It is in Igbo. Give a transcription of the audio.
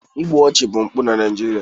igbu ọchụ bụ mpụ na Naịjirịa